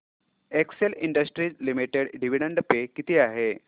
Excel industries limited dividend पे किती आहे